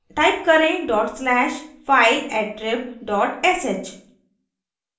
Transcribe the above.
type करें: dot slash fileattrib dot sh